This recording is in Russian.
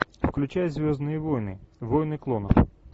включай звездные войны войны клонов